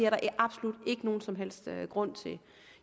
absolut ingen som helst grund til